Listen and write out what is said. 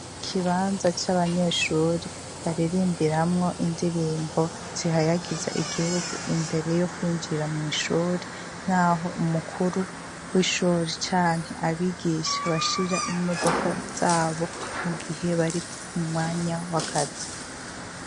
Ikibanza c'abanyeshure baririmbiramwo indirimbo zihayagiza igihugu imbere yo kwinjira mw'ishure ,naho umukuru w'ishure canke abigisha bashira imodoka zabo ,mugihe bari mumwanya wakazi.